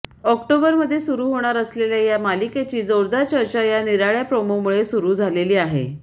ऑक्टोबरमध्ये सुरु होणार असलेल्या या मालिकेची जोरदार चर्चा या निराळ्या प्रोमोमुळे सुरु झालेली आहे